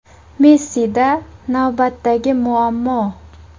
Messida navbatdagi muammo.